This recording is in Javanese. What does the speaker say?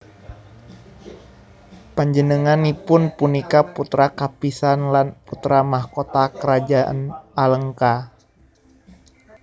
Panjenenganipun punika putra kapisan lan putra mahkota Karajan Alengka